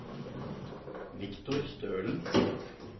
Viktor Stølen